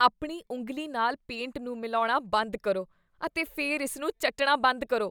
ਆਪਣੀ ਉਂਗਲੀ ਨਾਲ ਪੇਂਟ ਨੂੰ ਮਿਲਾਉਣਾ ਬੰਦ ਕਰੋ ਅਤੇ ਫਿਰ ਇਸ ਨੂੰ ਚੱਟਣਾ ਬੰਦ ਕਰੋ।